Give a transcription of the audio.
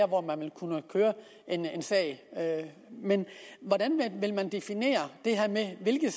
hvor man vil kunne køre en sag men hvordan vil man definere det her med hvilke